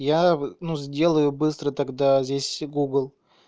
я ну сделаю быстро тогда здесь гугл